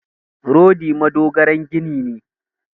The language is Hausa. Rodi madogaran gini ne.